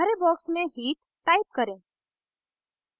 हरे box में heat type करें